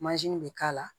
bɛ k'a la